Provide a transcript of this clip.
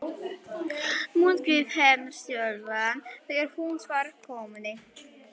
Munnvik hennar skjálfa þegar hún svarar konunni.